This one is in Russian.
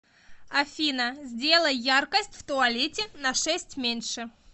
афина сделай яркость в туалете на шесть меньше